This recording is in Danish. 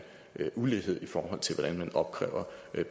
ulighed i forhold til hvordan man opkræver